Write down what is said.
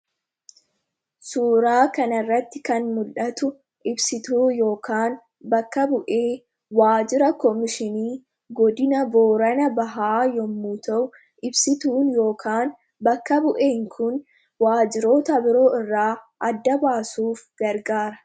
Suuraa kana irratti kan mul'atu ibsituu yookiin bakka bu'ee waajjira Kominikeeshinii Godina Boorana Bahaa yommuu ta'u, Ibsituu yookiin bakka bu'een kunis waajjiricha waajjiroota biroo irraa adda baasuuf gargaara.